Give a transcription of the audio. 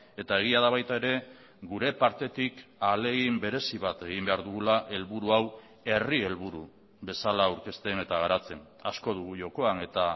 eta egia da baita ere gure partetik ahalegin berezi bat egin behar dugula helburu hau herri helburu bezala aurkezten eta garatzen asko dugu jokoan eta